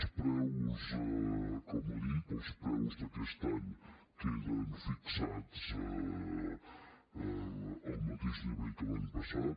els preus com ha dit els preus d’aquest any queden fixats al mateix nivell que l’any passat